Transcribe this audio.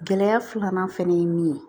Gɛlɛya filanan fɛnɛ ye min ye